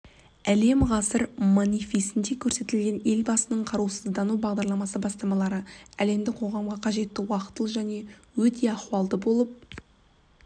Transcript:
әлем ғасыр манифестінде көрсетілген елбасының қарусыздану бағдарлама бастамалары әлемдік қоғамға қажетті уақтылы және өте ахуалды болып